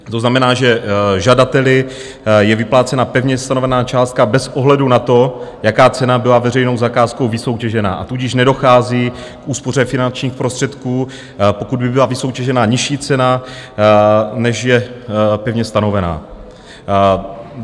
To znamená, že žadateli je vyplácena pevně stanovená částka bez ohledu na to, jaká cena byla veřejnou zakázkou vysoutěžená, a tudíž nedochází k úspoře finančních prostředků, pokud by byla vysoutěžená nižší cena, než je pevně stanovená.